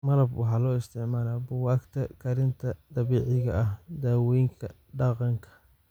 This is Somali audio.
malab waxaa loo isticmaalaa buugaagta karinta dabiiciga ah (daawoyinka dhaqanka).